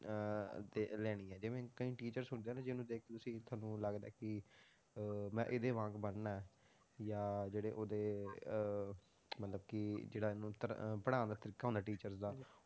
ਅਹ ਦੇ ਲੈਣੀ ਜਿਵੇਂ ਕਈ teachers ਹੁੰਦੇ ਆ ਨਾ ਜਿਹਨੂੰ ਦੇਖ ਕੇ ਤੁਸੀਂ ਤੁਹਾਨੂੰ ਲੱਗਦਾ ਹੈ ਕਿ ਅਹ ਮੈਂ ਇਹਦੇ ਵਾਂਗ ਬਣਨਾ ਹੈ, ਯਾ ਜਿਹੜੇ ਉਹਦੇ ਅਹ ਮਤਲਬ ਕਿ ਜਿਹੜਾ ਇਹਨੂੰ ਧ~ ਪੜ੍ਹਾਉਣ ਦਾ ਤਰੀਕਾ ਹੁੰਦਾ teacher ਦਾ